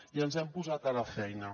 i ens hem posat a la feina